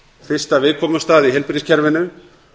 fyrsta viðkomustað í heilbrigðiskerfinu